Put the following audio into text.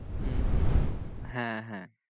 হম হম হ্যাঁ হ্যাঁ